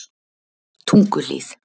Tunguhlíð